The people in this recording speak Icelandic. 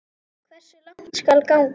Hversu langt skal ganga?